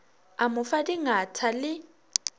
a mo fa dingatha le